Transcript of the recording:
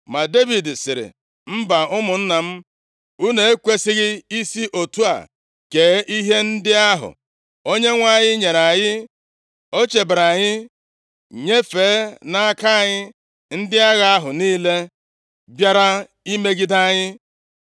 Ma Devid sịrị, “Mba, ụmụnna m, unu ekwesighị isi otu a kee ihe ndị ahụ Onyenwe anyị nyere anyị. O chebere anyị, nyefee nʼaka anyị ndị agha ahụ niile bịara imegide anyị.